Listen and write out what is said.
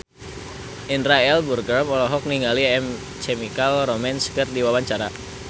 Indra L. Bruggman olohok ningali My Chemical Romance keur diwawancara